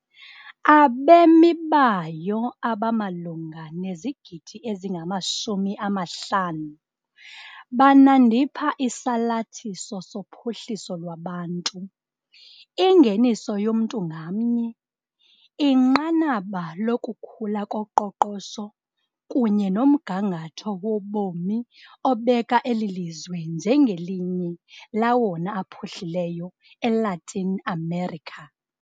Abemi bayo abamalunga nezigidi ezingama - 50 banandipha isalathiso sophuhliso lwabantu, ingeniso yomntu ngamnye, inqanaba lokukhula koqoqosho kunye nomgangatho wobomi obeka eli lizwe njengelinye lawona aphuhlileyo eLatin America.